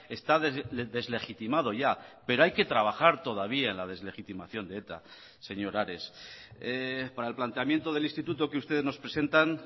está deslegitimado ya pero hay que trabajar todavía en la deslegitimación de eta señor ares para el planteamiento del instituto que ustedes nos presentan